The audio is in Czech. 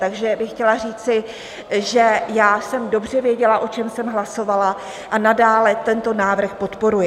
Takže bych chtěla říci, že já jsem dobře věděla, o čem jsem hlasovala, a nadále tento návrh podporuji.